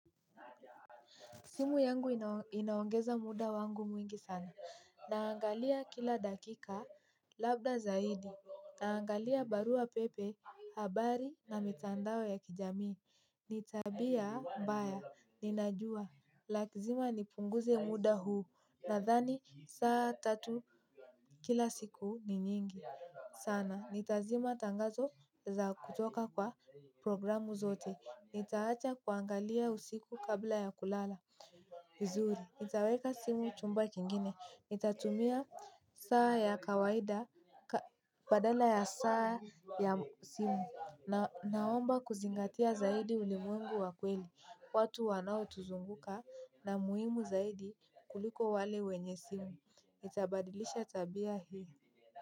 Simu yangu inaongeza muda wangu mwingi sana. Ninaangalia kila dakika, labda zaidi. Ninaangalia barua pepe, habari na mitandao ya kijamii. Ni tabia mbaya, ninajua. Lazima nipunguze muda huu. Nadhani saa tatu kila siku ni nyingi sana. Nitazima tangazo za kutoka kwa programu zote. Nitaacha kuangalia usiku kabla ya kulala. Kizuri, nitaweka simu chumba kingine. Nitatumia saa ya kawaida badala ya saa ya simu. Naomba kuzingatia zaidi ulimwengu wakweli. Watu wanao tuzunguka na muhimu zaidi kuliko wale wenye simu. Nitabadilisha tabia hii.